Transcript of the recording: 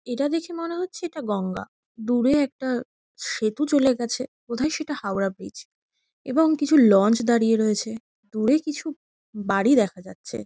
এটা দেখে মনে হচ্ছে এটা গঙ্গা। দূরে একটা সেতু চলে গেছে বোধ হয় সেটা হাওড়া ব্রীজ | এবং কিছু লঞ্চ দাঁড়িয়ে রয়েছে। দূরে কিছু বাড়ি দেখা যাচ্ছে।